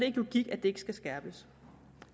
ikke logik at det ikke skal skærpes